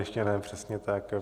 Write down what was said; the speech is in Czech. Ještě ne, přesně tak.